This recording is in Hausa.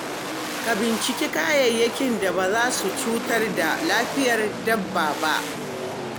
Ka binciki kayayyakin da ba za su cutar da lafiyar dabba ba.